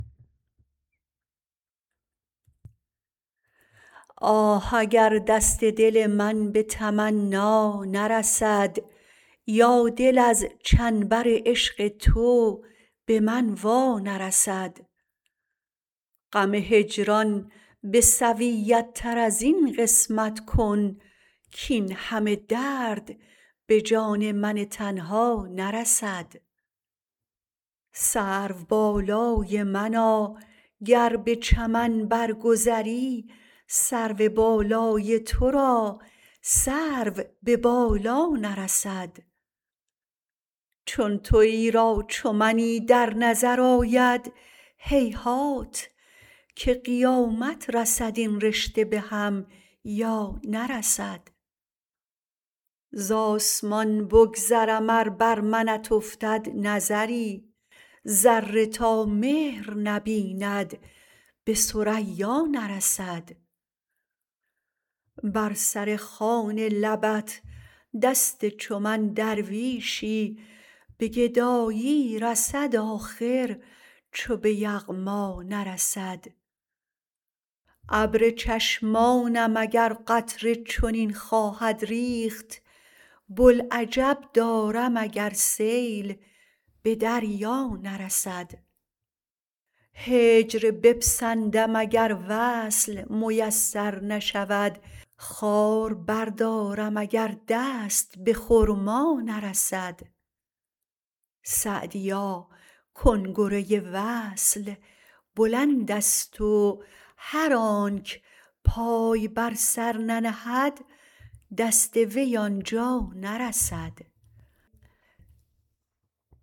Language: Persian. آه اگر دست دل من به تمنا نرسد یا دل از چنبر عشق تو به من وا نرسد غم هجران به سویت تر از این قسمت کن کاین همه درد به جان من تنها نرسد سروبالای منا گر به چمن بر گذری سرو بالای تو را سرو به بالا نرسد چون تویی را چو منی در نظر آید هیهات که قیامت رسد این رشته به هم یا نرسد زآسمان بگذرم ار بر منت افتد نظری ذره تا مهر نبیند به ثریا نرسد بر سر خوان لبت دست چو من درویشی به گدایی رسد آخر چو به یغما نرسد ابر چشمانم اگر قطره چنین خواهد ریخت بوالعجب دارم اگر سیل به دریا نرسد هجر بپسندم اگر وصل میسر نشود خار بردارم اگر دست به خرما نرسد سعدیا کنگره وصل بلندست و هر آنک پای بر سر ننهد دست وی آن جا نرسد